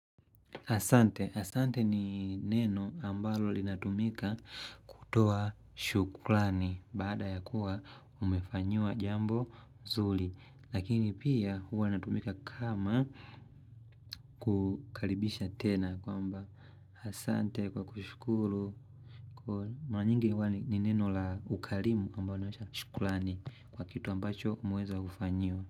Asante, asante ni neno ambalo linatumika kutoa shukrani baada ya kuwa umefanyiwa jambo mzuri lakini pia huwa natumika kama kukaribisha tena kwamba asante kwa kushukuru Mara nyingi huwa ni neno la ukarimu ambalo unaonyesha shukurani kwa kitu ambacho umeweza kufanyiwa.